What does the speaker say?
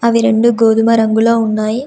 అవి రెండు గోధుమ రంగులో ఉన్నాయి.